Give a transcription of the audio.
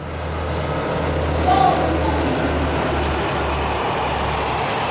yo o sa mo tsebego